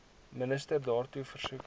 minister daartoe versoek